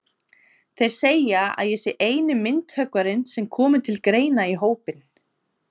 Þeir segja að ég sé eini myndhöggvarinn sem komi til greina í hópinn.